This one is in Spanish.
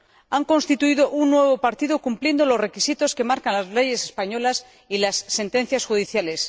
Han constituido un nuevo partido, cumpliendo los requisitos que marcan las leyes españolas y las sentencias judiciales.